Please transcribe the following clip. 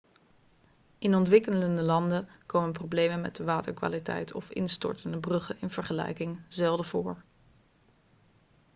in ontwikkelde landen komen problemen met de waterkwaliteit of instortende bruggen in vergelijking zelden voor